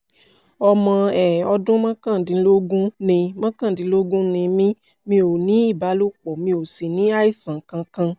ọmọ um ọdún mọ́kàndínlógún ni mọ́kàndínlógún ni mí mi ò ní ìbálòpọ̀ mi ò sì ní àìsàn kankan